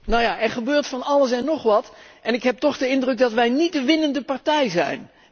Nu ja, er gebeurt van alles en nog wat en ik heb toch de indruk dat wij niet de winnende partij zijn.